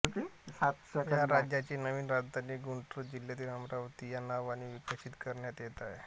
या राज्याची नवीन राजधानी गुंटुर जिल्ह्यात अमरावती या नावाने विकसित करण्यात येत आहे